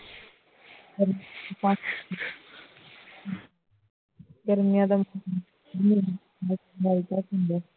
ਗਰਮੀਆਂ ਦਾ ਮਹੀਨਾ ਹੁੰਦਾ ਹੈ